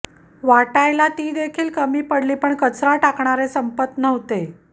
वाटायला ती देखील कमी पडली पण कचरा टाकणारे संपत नव्हते